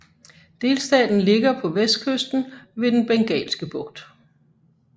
Delstaten ligger på vestkysten ved Den Bengalske Bugt